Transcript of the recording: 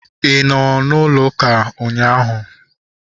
Ị nọ n'ụlọ ụka ụnyaahụ?